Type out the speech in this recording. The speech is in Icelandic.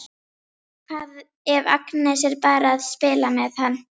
Hvað ef Agnes er bara að spila með hann?